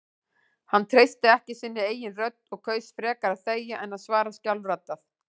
Hann treysti ekki sinni eigin rödd og kaus frekar að þegja en að svara skjálfraddað.